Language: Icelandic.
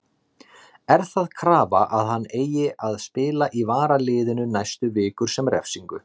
Er það krafa að hann eigi að spila í varaliðinu næstu vikur sem refsingu?